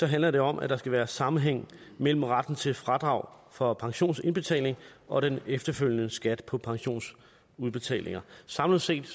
handler det om at der skal være sammenhæng mellem retten til fradrag for pensionsindbetalinger og den efterfølgende skat på pensionsudbetalinger samlet set